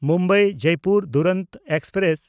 ᱢᱩᱢᱵᱟᱭ–ᱡᱚᱭᱯᱩᱨ Duronto express